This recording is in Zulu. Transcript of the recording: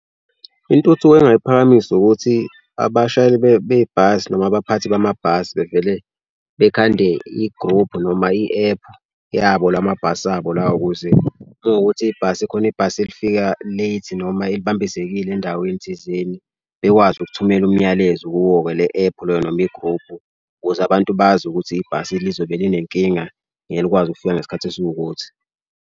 Intuthu engingay'phakamisa ukuthi abashayeli bebhasi noma abaphathi bamabhasi bevele bekhande i-group noma i-ephu yabo lamabhasi abo lawa ukuze uma kuwukuthi ibhasi khona ibhasi elifika late noma elibambezekile endaweni thizeni bekwazi ukuthumela umyalezo kuwo-ke le ephu loyo noma igruphu. Ukuze abantu bazi ukuthi ibhasi lizobe linenkinga. Ngeke likwazi ukufika ngesikhathi esiwukuthi.